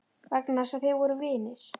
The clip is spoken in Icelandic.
Vegna þess að þeir voru vinir?